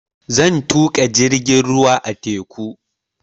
Zan tuƙa jirgin ruwa a teku